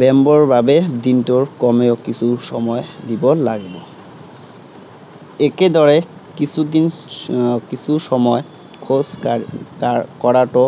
ব্য়ায়ামৰ বাবে দিনটোৰ কমেও কিছু সময় দিব লাগিব। একেদৰে কিছুদিন আহ কিছু সময় খোজ কা কাৰ কঢ়াতো